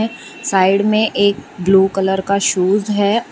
Side में एक blue colour का शूज है।